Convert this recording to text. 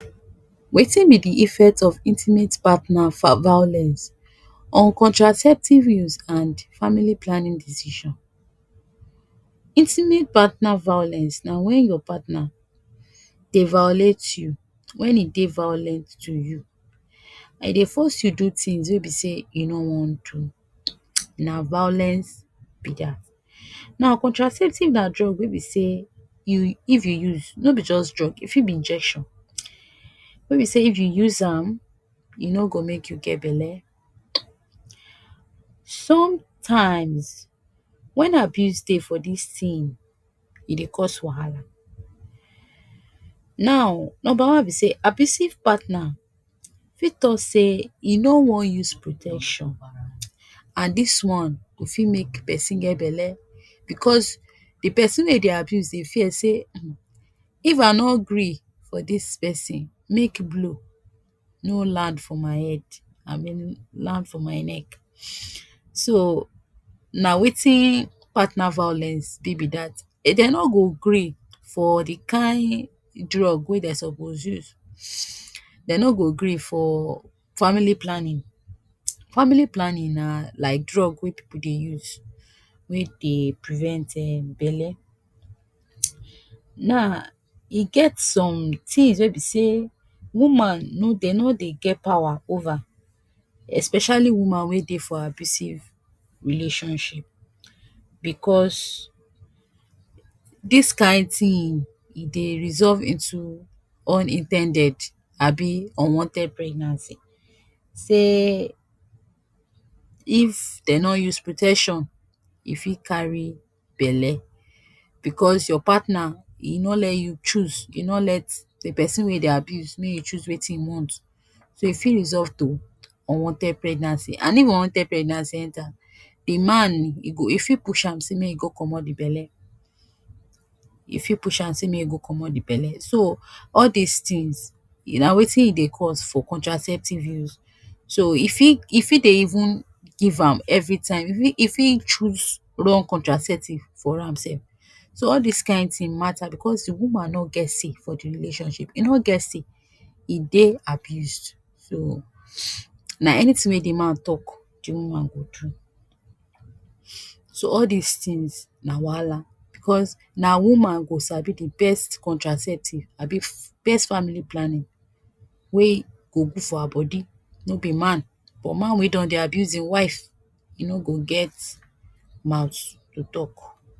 Wetin be de effect of intimate partner violence on contraceptive use and family planning decision. Intimate partner violence na when your partner dey violate you, when e dey violent to you. E dey force you do things wey be sey e no wan do. Na violence be dat. Now contraceptive na drug wey be sey you if you use, no be just drug, e fit be injection, wey be sey if you use am e no go make you get bele. Sometimes, when abuse dey for dis thing e dey cause wahala. Now number one be sey abusive partner fit talk say e no wan use protection, and dis one go fit make pesin get bele because de pesin wey e dey abuse dey fear sey, if I no gree for dis pesin, make blow no land for my head land for my neck. So na wetin partner violence be be dat. dey no go gree for de kain drug wey dey suppose use, dey no go gree for family planning. Family planning na like drug wey pipu dey use wey dey prevent um bele. Now e get some things wey be sey woman no dey no dey get pawa over, especially woman wey dey for abusive relationship, because dis kain thing e dey resolve into unin ten ded abi unwanted pregnancy. Sey if dey no use protection e fit carry bele, because your partner e no let you choose e not let dey pesin wey e dey abuse make im choose wetin e want. So e fit resolve to unwanted pregnancy, and if unwanted pregnancy enter de man e go e fit push am sey make e go komot de bele, e fit push am sey make e go komot de bele. So all dis things na wetin e dey cause for contraceptive use. So e fit e fit dey even give am everytime, e fit choose wrong contraceptive for am sef. So all dis kain thing mata because de woman no get say for de relationship. E no get say, e dey abused. So na anything wey de man talk de woman go do. So all dis things na wahala because na woman dgo sabi de best contraceptive abi best family planning wey go good for her body no be man. But man wey don dey abuse im wife e no go get mouth to talk.